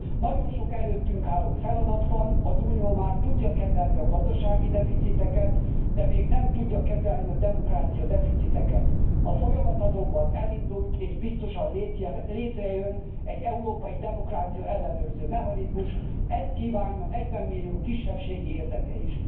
Nagyon sok előttünk álló feladat van, az Unió már tudja kezelni a gazdasági deficiteket, de még nem tudja kezelni a demokráciadeficiteket. A folyamat azonban elindult, és biztosan létrejön az európai demokrácia ellenőrző mechanizmus, ezt kívánja 40 millió kisebbségi érdeke is.